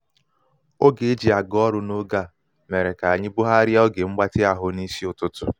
oge e ji aga ọrụ n'oge a mere ka anyi bugharịa oge mgbatị ahụ n'isi ụtụtụ.